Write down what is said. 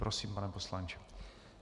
Prosím, pane poslanče.